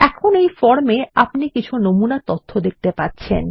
এখন এই ফর্ম এ আপনি কিছু নমুনা তথ্য দেখতে পাচ্ছেন